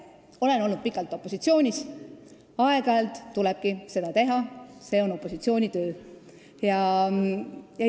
Ma olen olnud pikalt opositsioonis, ma tean, et aeg-ajalt tulebki seda teha, see on opositsiooni töö.